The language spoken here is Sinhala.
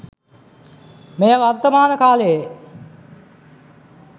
මෙය වර්තමාන කාලයේ